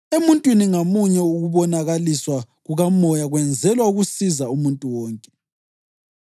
Emuntwini ngamunye ukubonakaliswa kukaMoya kwenzelwa ukusiza umuntu wonke.